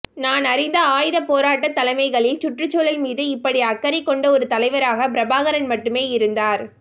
நான் அறிந்த ஆயுதப் போராட்டத் தலைமைகளில் சுற்றுச்சூழல் மீது இப்படி அக்கறை கொண்ட ஒரு தலைவராகப் பிரபாகரன் மட்டுமே இருந்தார்